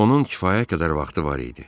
Onun kifayət qədər vaxtı var idi.